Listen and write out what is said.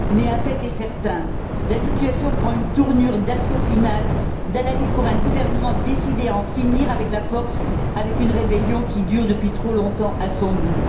Un fait est certain. La situation prend une tournure d'assaut final, d'hallali pour un gouvernement décidé à en finir par la force avec une rébellion qui dure depuis trop longtemps à son goût.